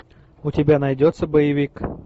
у тебя найдется боевик